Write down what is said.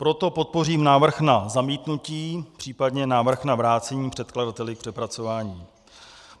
Proto podpořím návrh na zamítnutí, případně návrh na vrácení předkladateli k přepracování.